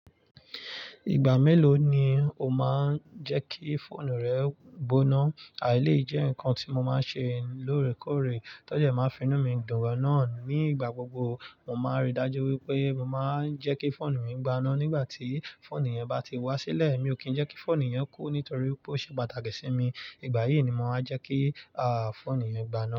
Ìgbà mélòó ni o máa ń jẹ́kí fóònù rẹ gboná? Eléyìí jẹ́ ǹkan tí mo máa ń ṣe lóòrèkóòrè, tọ́jẹ̀ máa finú mi dùn gan-an. Ni ìgbà gbogbo, mo máa ń rí i dájú wípé mo máa ń jẹ́kí fóònù mi gbaná nígbà tí fóònù yẹn bá ti wá sílẹ̀. Mi ò kì í jẹ́kí fóònù yẹn kú nítorí pé ó ṣe pàtàkì sí mi. Ìgbà yìí ni mo máa jẹ́kí, fóònù yẹn gbaná.